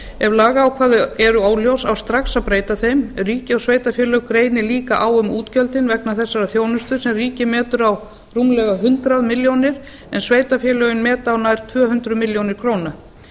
ef lagaákvæði eru óljós á strax að breyta þeim ríki og sveitarfélög greinir líka á um útgjöldin vegna þessarar þjónustu sem ríkið betur á rúmlega hundrað milljónir en sveitarfélögin meta á nær tvö hundruð milljóna króna